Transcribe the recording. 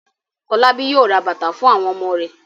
Fọlábí yóò ra bàtà fún àwon ọmọ rẹ̀.